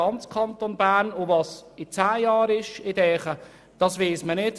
Was in zehn Jahren sein wird, weiss man nicht.